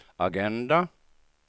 agenda